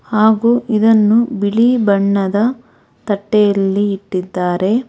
ಹಾಗು ಇದನ್ನು ಬಿಳಿ ಬಣ್ಣದ ತಟ್ಟೆಯಲ್ಲಿ ಇಟ್ಟಿದ್ದಾರೆ.